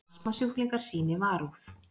Astmasjúklingar sýni varúð